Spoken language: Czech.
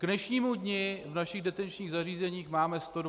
K dnešnímu dni v našich detenčních zařízeních máme 125 lidí.